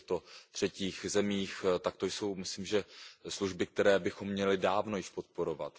v těchto třetích zemích, tak to jsou myslím služby, které bychom měli dávno již podporovat.